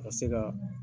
Ka se ka